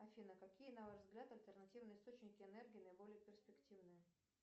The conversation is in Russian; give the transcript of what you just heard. афина какие на ваш взгляд альтернативные источники энергии наиболее перспективны